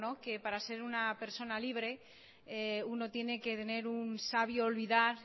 que para ser una persona libre uno tiene que tener un sabio olvidar